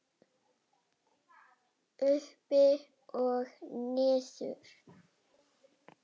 Upp og niður